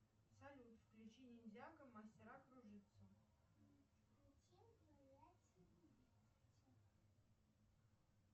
салют включи ниндзяго мастера кружитцу